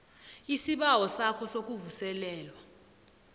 isibawo sakho sokuvuselelwa